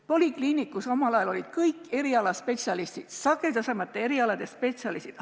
Polikliinikus olid omal ajal olemas kõik erialaspetsialistid, sagedasemate erialade spetsialistid.